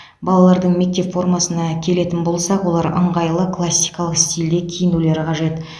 балалардың мектеп формасына келетін болсақ олар ыңғайлы классикалық стилде киінулері қажет